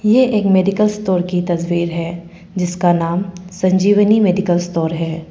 यह एक medical store की तस्वीर है जिसका नाम संजीवनी मेडिकल स्टोर है।